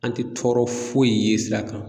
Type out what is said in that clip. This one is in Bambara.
An tɛ tɔɔrɔ foyi ye sira kan.